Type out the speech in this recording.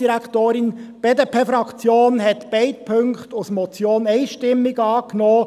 Die BDP-Fraktion hat beide Punkte als Motion einstimmig angenommen.